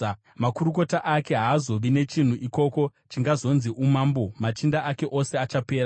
Makurukota ake haazovi nechinhu ikoko chingazonzi umambo, machinda ake ose achapera.